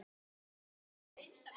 Og fengið þau.